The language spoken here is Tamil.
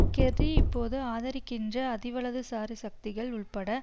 கெர்ரி இப்போது ஆதரிக்கின்ற அதிவலதுசாரி சக்திகள் உள்பட